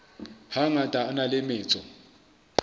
hangata a na le metso